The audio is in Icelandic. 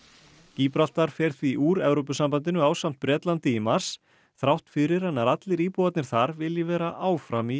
gíbraltar fer því úr Evrópusambandinu ásamt Bretlandi í mars þrátt fyrir að nær allir íbúarnir þar vilji vera áfram í